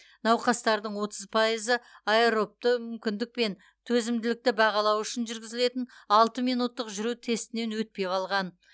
науқастардың отыз пайызы аэробты мүмкіндік пен төзімділікті бағалау үшін жүргізілетін алты минуттық жүру тестінен өтпей қалған